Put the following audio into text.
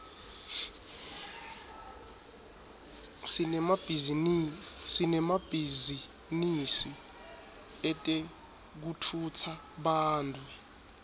sinemabhizinisi etekutfutsa bantfu